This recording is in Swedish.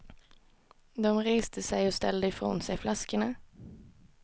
De reste sig och ställde ifrån sig flaskorna.